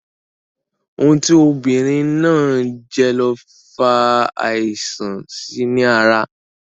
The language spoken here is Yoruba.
Ohun tí obìnrin náà jẹ ló fa àìsàn síi ní ara